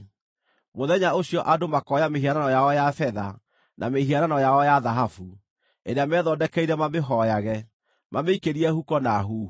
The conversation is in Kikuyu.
Mũthenya ũcio andũ makooya mĩhianano yao ya betha, na mĩhianano yao ya thahabu, ĩrĩa methondekeire mamĩhooyage, mamĩikĩrie huko na huhu.